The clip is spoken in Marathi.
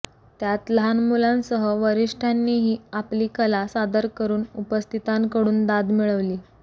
त्यात लहान मुलांसह वरिष्ठांनीही आपली कला सादर करून उपस्थितांकडून दाद मिळविली